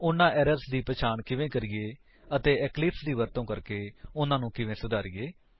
ਉਨ੍ਹਾਂ ਏਰਰਸ ਦੀ ਪਹਿਚਾਣ ਕਿਵੇਂ ਕਰੀਏ ਅਤੇ ਇਕਲਿਪਸ ਦੀ ਵਰਤੋ ਕਰਕੇ ਉਨ੍ਹਾਂਨੂੰ ਕਿਵੇਂ ਸੁਧਾਰੀਏ